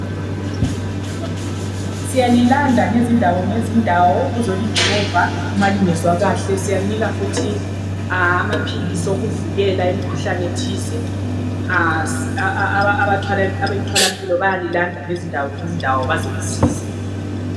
Siyalilanda ngezindawo ngezindawo ukuzolijova malingezwa kuhle siyalinika futhi amaphilisi okuvikela imikhuhlane thize abethwala mpilo bayalilanda ngezindawo ngezindawo bazolisiza